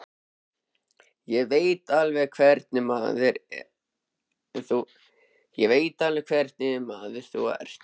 Ég veit alveg hvernig maður þú ert.